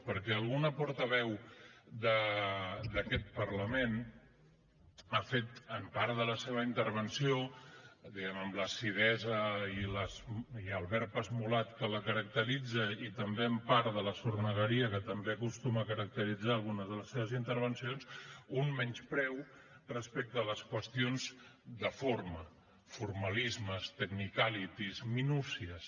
perquè alguna portaveu d’aquest parlament ha fet en part de la seva intervenció diguem ne amb l’acidesa i el verb esmolat que la caracteritza i també en part de la sornegueria que també acostuma a caracteritzar alguna de les seves intervencions un menyspreu respecte a les qüestions de forma formalismes technicalities minúcies